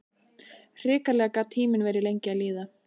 Hrikalega gat tíminn verið lengi að líða.